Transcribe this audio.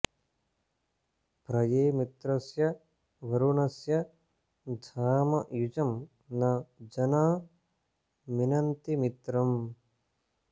प्र ये मित्रस्य वरुणस्य धाम युजं न जना मिनन्ति मित्रम्